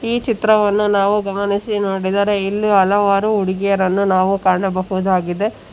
ಈ ಚಿತ್ರವನ್ನು ನಾವು ಗಮನಿಸಿ ನೋಡಿದರೆ ಇಲ್ಲಿ ಹಲವಾರು ಹುಡುಗಿಯರನ್ನು ನಾವು ಕಾಣಬಹುದಾಗಿದೆ.